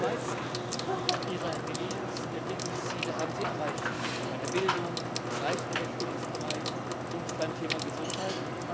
Die meisten ihrer Millenniums Entwicklungsziele haben sie erreicht bei der Bildung, im Gleichberechtigungsbereich und beim Thema Gesundheit.